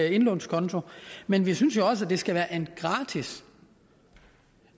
indlånskonto men vi synes jo også at det skal være en gratis